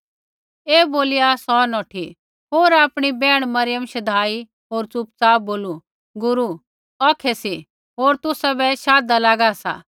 ऐ बोलिया सौ नौठी होर आपणी बैहण मरियम शधाई होर चु़पचाप बोलू गुरू औखै सी होर तुसाबै शाधदा लागु सा